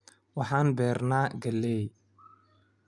Waxaan beernaa galley